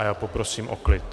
A já poprosím o klid.